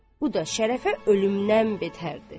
Bu da Şərəfə ölümdən betərdi.